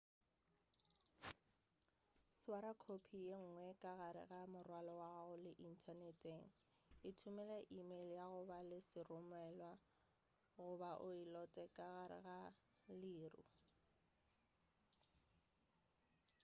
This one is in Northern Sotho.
swara khophi ye nngwe ka gare ga morwalo wa gago le inthaneteng ithomele emeile ya go ba le seromelwa goba o e lote ka gare ga leru"